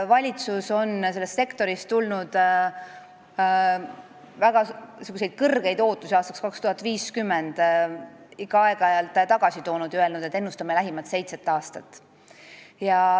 Valitsus on sellest sektorist tulnud väga kõrgeid ootusi aastaks 2050 aeg-ajalt ikka allapoole toonud ja öelnud, et ennustame lähimat seitset aastat.